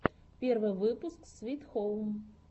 первый выпуск свит хоум